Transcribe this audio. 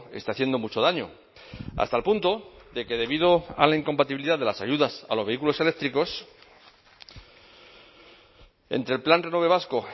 está haciendo mucho daño hasta el punto de que debido a la incompatibilidad de las ayudas a los vehículos eléctricos entre el plan renove vasco